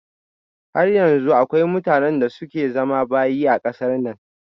Har yanzu akwai mutanen da suke zama bayi a kasar nan